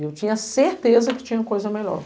E eu tinha certeza que tinha coisa melhor.